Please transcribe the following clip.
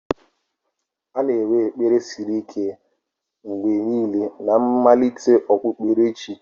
A na-enwe ekpere siri ike mgbe niile na mmalite okpukperechi.